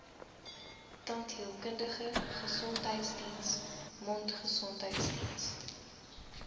tandheelkundige gesondheidsdiens mondgesondheidsdiens